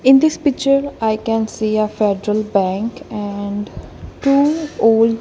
in this picture i can see a federal bank and two old --